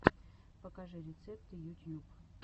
покажи рецепты ютьюб